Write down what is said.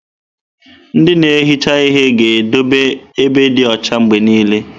Ndị na-ehicha ihe ga na-edobe ebe dị ọcha mgbe niile.